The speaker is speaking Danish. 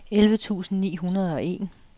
elleve tusind ni hundrede og en